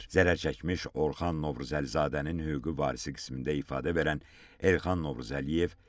Zərər çəkmiş Orxan Novruzəlizadənin hüquqi varisi qismində ifadə verən Elxan Novruzəliyev dedi ki,